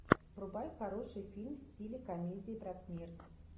врубай хороший фильм в стиле комедии про смерть